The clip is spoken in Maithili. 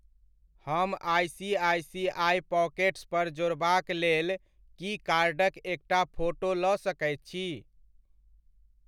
हम आइसीआइसीआइ पॉकेट्स पर जोड़बाक लेल की कार्डक एकटा फोटो लऽ सकैत छी ?